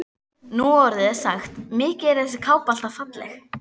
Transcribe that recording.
Nú orðið er sagt: Mikið er þessi kápa alltaf falleg